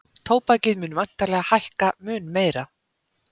Tóbakið mun væntanlega hækka mun meira